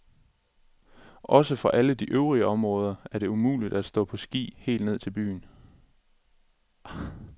Også fra alle de øvrige områder er det muligt at stå på ski helt ned til byen.